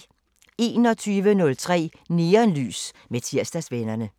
21:03: Neonlys med Tirsdagsvennerne